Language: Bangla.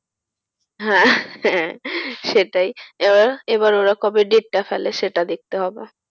হ্যাঁ হ্যাঁ সেটাই, এবার এবার ওরা কবে date টা ফেলে সেটা দেখতে হবে।